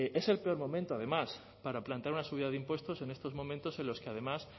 es el peor momento además para plantear una subida de impuestos en estos momentos en los que además